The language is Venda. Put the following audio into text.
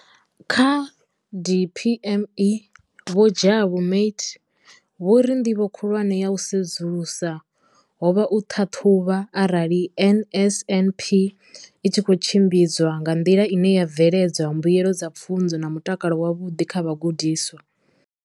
Kha DPME, vho Jabu Mathe, vho ri ndivho khulwane ya u sedzulusa ho vha u ṱhaṱhuvha arali NSNP i tshi khou tshimbidzwa nga nḓila ine ya bveledza mbuelo dza pfunzo na mutakalo wavhuḓi kha vhagudiswa.